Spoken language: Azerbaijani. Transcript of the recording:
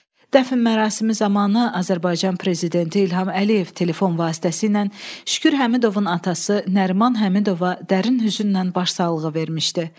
Dəfn mərasimi zamanı Azərbaycan prezidenti İlham Əliyev telefon vasitəsilə Şükür Həmidovun atası Nəriman Həmidova dərin hüznlə başsağlığı vermişdi.